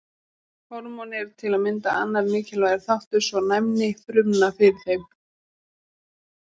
Hormón eru til að mynda annar mikilvægur þáttur svo og næmni frumna fyrir þeim.